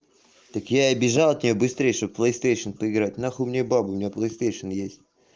так я и бежал тебя быстрее чтобы плейстейшен поиграть нахуй мне бабу у меня плейстейшен есть